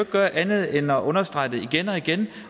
gøre andet end at understrege det igen og igen